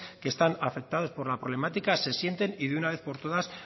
que están afectados por la problemática se sienten y de una vez por todas